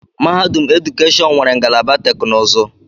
Mahadum edukeshọn nwere ngalaba teknụzụ.